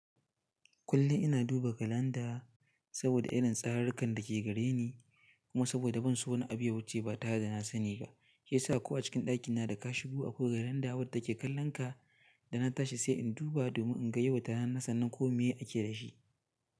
Kullum ina duba kalanda saboda irin tsarunka dake gare ni kuma saboda ban so wani abu yawuce ba tare da na sani ba, she yasa ko a cikin ɗakina da kashibu akwai kalanda wadda ke kallon ka da na tashi sai in duba domin in ga yau wata rana sannan ko me ake da shi.